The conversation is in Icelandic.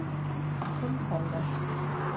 Þinn Fannar.